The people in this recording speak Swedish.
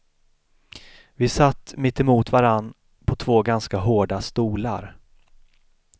Vi satt mittemot varann på två ganska hårda stolar.